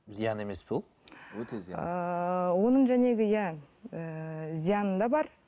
зиян емес пе ол өте зиян ыыы оның иә ііі зияны да бар